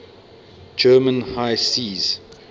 german high seas